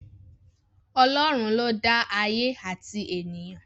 Ọlọ́run ló dá ayé àti ènìyàn